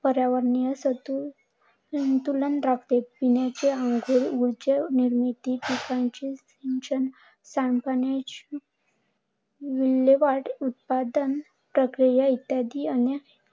पर्यावरणासाठी संतुलन राखते. अंघोळ, ऊर्जा निर्मिती, पिकांचे, सांडपाणी विल्हेवाट उत्पादन प्रक्रिया इत्यादी आणि